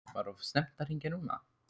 Var of snemmt að hringja núna?